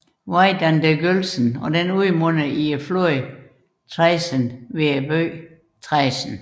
Veit an der Gölsen og udmunder i floden Traisen ved byen Traisen